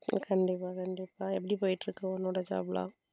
கண்டிப்பா கண்டிப்பா எப்படி போயிட்டு இருக்கு உன்னோட job எல்லாம்.